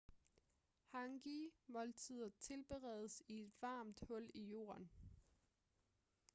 hangi-måltider tilberedes i et varmt hul i jorden